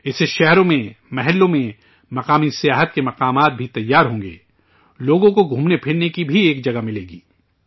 اس سے شہروں میں، محلوں میں، مقامی سیاحت کی جگہوں بھی تیار ہوں گی، لوگوں کو گھومنے پھرنے کی بھی ایک جگہ ملے گی